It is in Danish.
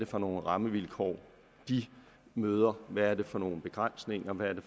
for nogle rammevilkår de møder hvad det er for nogle begrænsninger hvad det